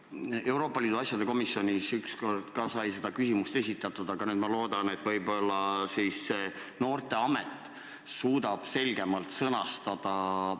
Ka Euroopa Liidu asjade komisjonis sai kord see küsimus esitatud, aga ma loodan, et võib-olla see noorteamet suudab mõisted selgemalt sõnastada.